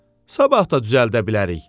Sabah da düzəldə bilərik.